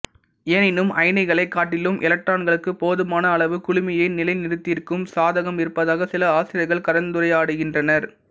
எனினும் அயனிகளைக் காட்டிலும் எலக்ட்ரான்களுக்கு போதுமான அளவு குளுமையை நிலை நிறுத்தியிருக்கும் சாதகம் இருப்பதாக சில ஆசிரியர்கள் கலந்துரையாடுகின்றனர்